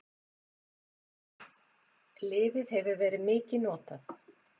Lyfið hefur verið mikið notað.